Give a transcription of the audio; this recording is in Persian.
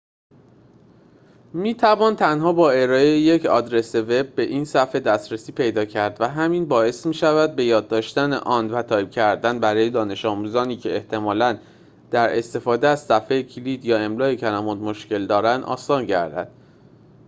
می‌توان تنها با ارائه یک آدرس وب به این صفحه دسترسی پیدا کرد و همین باعث می‌شود به‌یاد داشتن آن و تایپ کردنش برای دانش‌آموزانی که احتمالاً در استفاده از صفحه‌کلید یا املای کلمات مشکل دارند آسان گردد